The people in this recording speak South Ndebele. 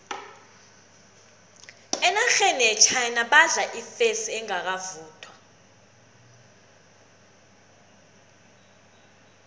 enarheni yechina badla ifesi engakavuthwa